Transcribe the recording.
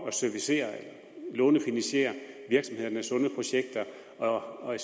at servicere lånefinansiere virksomhedernes sunde projekter og at